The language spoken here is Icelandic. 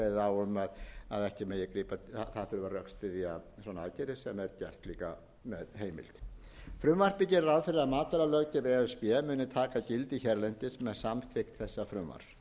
á um að það þurfi að rökstyðja svona aðgerðir sem er gert líka með heimild frumvarpið gerir ráð fyrir að matvælalöggjöf e s b muni taka gildi hérlendis með samþykkt þessa frumvarps